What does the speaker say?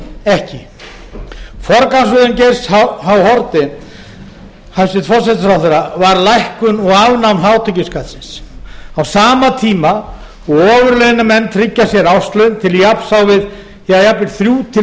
ekki forgangsröðun geirs h haarde hæstvirtur forsætisráðherra var lækkun og afnám hátekjuskatts á sama tíma og ofurlaunamenn tryggja sér árslaun til jafns á við jafnvel þrjú hundruð til